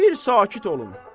bir sakit olun.